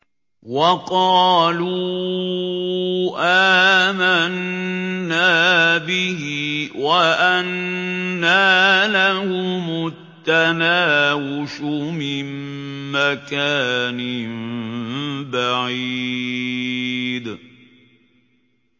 وَقَالُوا آمَنَّا بِهِ وَأَنَّىٰ لَهُمُ التَّنَاوُشُ مِن مَّكَانٍ بَعِيدٍ